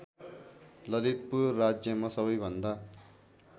ललितपुर राज्यमा सबैभन्दा